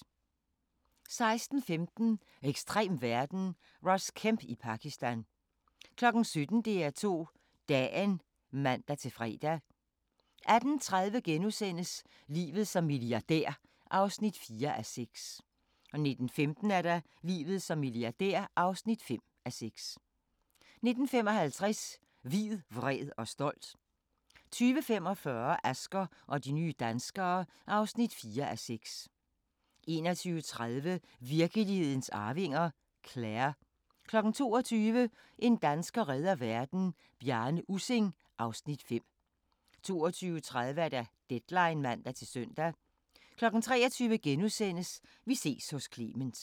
16:15: Ekstrem verden – Ross Kemp i Pakistan 17:00: DR2 Dagen (man-fre) 18:30: Livet som milliardær (4:6)* 19:15: Livet som milliardær (5:6) 19:55: Hvid, vred og stolt 20:45: Asger og de nye danskere (4:6) 21:30: Virkelighedens arvinger: Claire 22:00: En dansker redder verden - Bjarne Ussing (Afs. 5) 22:30: Deadline (man-søn) 23:00: Vi ses hos Clement *